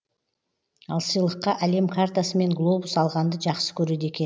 ал сыйлыққа әлем картасы мен глобус алғанды жақсы көреді екен